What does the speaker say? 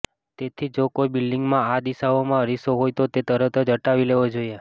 તેથી જો કોઈ બિલ્ડિંગમાં આ દિશાઓમાં અરીસો હોય તો તે તરત જ હટાવી લેવો જોઈએ